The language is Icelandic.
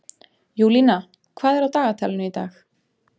Júlína, hvað er á dagatalinu í dag?